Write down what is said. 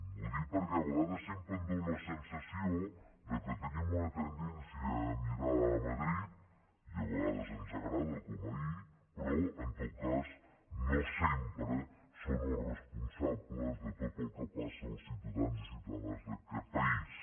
ho dic perquè a vegades sempre em fa la sensació que tenim una tendència a mirar a madrid i a vegades ens agrada com ahir però en tot cas no sempre són els responsables de tot el que passa als ciutadans i ciutadanes d’aquest país